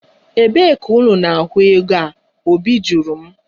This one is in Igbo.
Ebee ka unu na-ahụ ego a? Obi jụrụ m